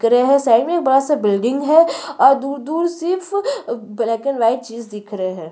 दिख रहै है साइड में बड़ा सा बिल्डिंग हैं और दूर - दूर सिर्फ ब्लैक एंड लाइट चीज दिख रहै हैं।